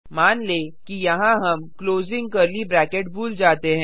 मान लें कि यहाँ हम भूल जाते हैं